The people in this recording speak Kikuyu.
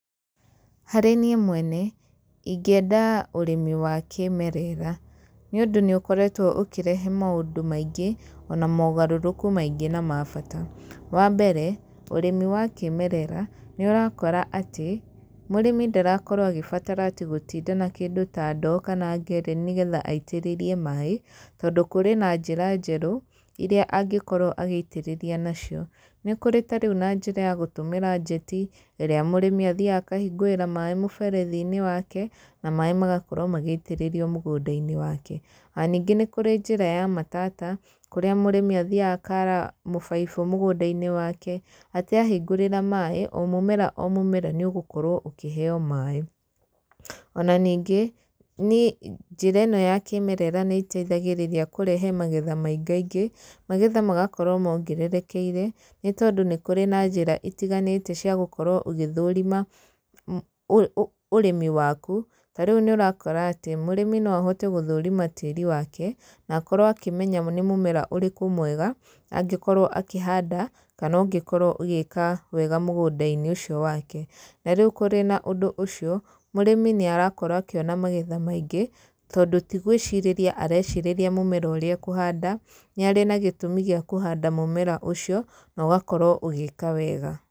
Harĩ niĩ mwene, ingĩenda ũrĩmi wa kĩmerera. Nĩ ũndũ nĩ ũkoretwo ũkĩrehe maũndũ maingĩ, ona mogarũrũku maingĩ na mabata. Wa mbere ũrĩmi wa kĩmerera, nĩ ũrakora atĩ mũrĩmi ndarakorwo agĩbatara atĩ gũtinda na kĩndũ ta ndoo, kana ngereni nĩgeha aitĩrĩrie maĩ, tondũ kũrĩ na njĩra njerũ iria angĩkorwo agĩitĩrĩria nacio. Nĩ kũrĩ tarĩu na njĩra ya gũtũmĩra njeti, ĩrĩa mũrĩmi athiaga akahingũrĩra maĩ mũberethi-inĩ wake, na maĩ magakorwo magĩitĩrĩrio mũgũnda-inĩ wake. Ona ningĩ nĩ kũrĩ njĩra ya matata, kũrĩa mũrĩmi athiaga akara mũbaibũ mũgũnda-inĩ wake atĩ ahingũrĩra maĩ, o mũmera o mũmera, nĩ ũgũkorwo ũkĩheyo maĩ. Ona ningĩ niĩ njĩra ĩno ya kĩmerera nĩ ĩteithagĩrĩria kũrehe magetha maingĩ ingĩ, magetha magakorwo mongererekeire nĩ tondũ nĩ kũrĩ na njĩra itiganĩte ciagũkorwo ũgĩthũrima ũrĩmi waku, ta rĩu nĩ ũrakora atĩ, mũrĩmi no ahote gũthũrima tĩri wake, nakorwo akĩmenya nĩ mũmera ũrĩkũ mwega, angĩkorwo akĩhanda, kana ũngĩkorwo ũgĩka wega mũgũnda-inĩ ũcio wake. Na rĩu kũrĩ na ũndũ ũcio, mũrĩmi nĩ arakorwo akĩona mamgetha maingĩ, tondũ tigwĩcirĩtria arecirĩria mũmera ũrĩa ekũhanda, nĩ arĩ na gĩtũmi gĩa kũhanda mũmera ũcio, nogakorwo ũgĩka wega.